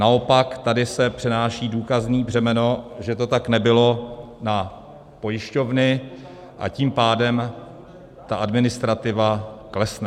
Naopak tady se přenáší důkazní břemeno, že to tak nebylo, na pojišťovny, a tím pádem ta administrativa klesne.